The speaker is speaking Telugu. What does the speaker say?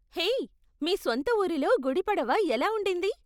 హేయ్, మీ స్వంత ఊరిలో గుడి పడవ ఎలా ఉండింది?